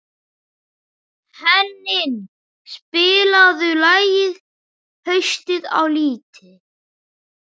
Henning, spilaðu lagið „Haustið á liti“.